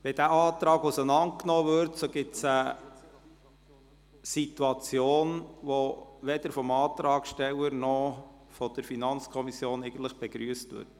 Würde dieser Antrag auseinanderdividiert, ergäbe sich eine Situation, die weder vom Antragssteller noch von der FiKo begrüsst würde.